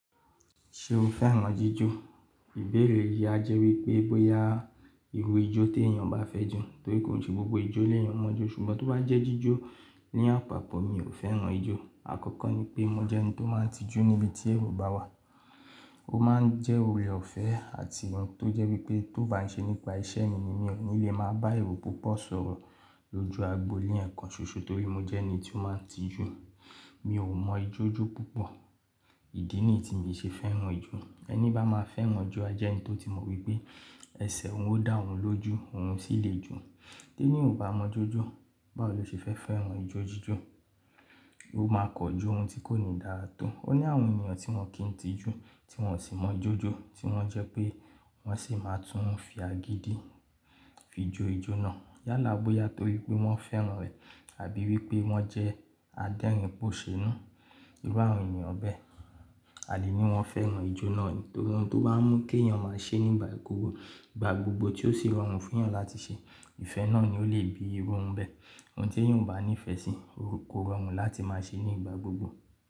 Ṣé o fẹ́ran jíjó? Ìbéèrè yìí a jẹ́ wípé bóyá irú ijó tí èèyàn bá fẹ́ ju, torí kò ṣe gbogbo ijó le èyàn mọ̀ọ́ jó, ṣùgbọ́n tó bá jẹ́ jíjó, ní àpapọ̀ mi ò fẹ́ran ijó. Àkọ́kọ́ ní pé mo jẹ́ ẹni tó máa ń tijú níbi tí èrò bá wà. Ó máa ń jẹ́ òrè ọ̀fẹ́ àti ohun tó jẹ́ wípé tó bá ń ṣe nípa iṣẹ́ mi ni, mi ò ní le máa bá èrò púpọ̀ sọ̀rọ̀ lójú agbo ní ẹ̀ẹ̀kan ṣoṣo torí mo jẹ́ ẹni tí ó máa ń tijú. Mi ò mọ ijó jó púpọ̀. Ìdí nìyí tí mi ṣe fẹ́ran ijó, ẹni bá máa fẹ́ran ijó a jẹ́ ẹni tó ti mọ̀ wípé ẹsẹ̀ òun ó dà ọ́n lójú, òun sì lè ju. T'ẹ́níyan o ò bá mọ̀ọ́ jó jó, báwo lo ṣe fẹ́ fẹ́ran ijó jíjó? Ó máa kan jó ohun tí kò ní dára tó. Ó ní àwọn ènìyàn tí wọ́n kì í tijú, tí wọ́n sì mọ̀ọ́ jó jó, tí wọ́n jẹ́ pé wọ́n sì máa tún fi agídí fi jo ijó náà. Yálà bóyá torí pé wọ́n fẹ́ran rẹ̀ àbí wípé wọ́n jẹ́ adẹ́rìn pòṣénú. Irú àwọn ènìyàn bẹ́ẹ̀. Àdí ní wọ́n fẹ́ran ijó náà ni, torí ohun tó bá ń mú kí èèyàn máa ṣe nígbà gbogbo, ìgbà gbogbo tí ó sì rọrùn fún èèyàn láti ṣe, ìfẹ́ náà ni ó lè bi irú ohun bẹ́ẹ̀. Ohun tí èèyàn bá ní ìfẹ́ sí, ó rọrùn láti máa ṣe ní ìgbà gbogbo.